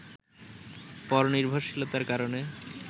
পরনির্ভশীলতার কারণে